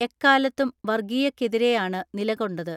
എക്കാ ലത്തും വർഗീയതക്കെതിരെയാണ് നിലകൊണ്ടത്.